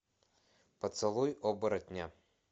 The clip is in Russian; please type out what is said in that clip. поцелуй оборотня